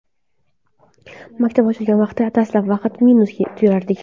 Maktab ochilgan vaqtda dastlab faqat minusda yurardik.